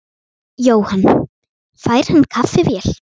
Jóhann: Fær hann kaffivél?